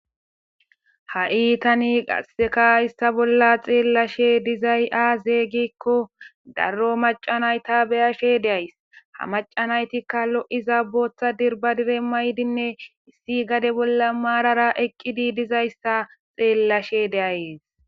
Ha iitani qaseka issa bolla xeellashe dizay aazeeygikko darro macanayta beyashe deays ha macanaytikka lo7iza bootha dirba dire maydinne issi gade bolla maarara eqqidi dizayssa xeellashe deayes